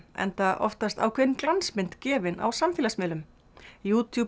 enda oftast ákveðin glansmynd gefin á samfélagsmiðlum